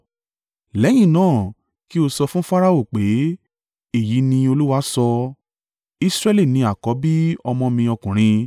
Lẹ́yìn náà, kí o sọ fún Farao pé, ‘Èyí ni Olúwa sọ: Israẹli ní àkọ́bí ọmọ mi ọkùnrin,